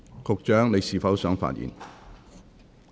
局長，你是否想發言？